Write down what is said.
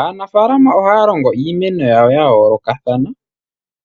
Aanafalama ohaya longo iimeno yawo ya yoolokathana